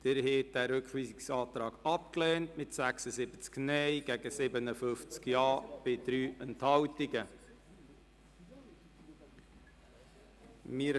Sie haben den Rückweisungsantrag mit 57 Ja- und 76 Nein-Stimmen bei 3 Enthaltungen abgelehnt.